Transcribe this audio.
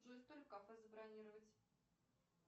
джой столик в кафе забронировать